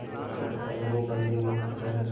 पोत का पता नहीं बंदी मुक्त हैं